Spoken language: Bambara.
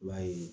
I b'a ye